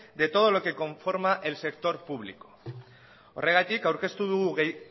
de todo lo que conforma el sector público horregatik aurkeztu dugu